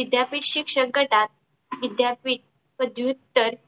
विद्यापीठ शिक्षक गटात विद्यापीठ पदव्युत्तर